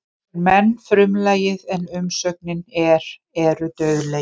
Hér er menn frumlagið en umsögnin er eru dauðlegir.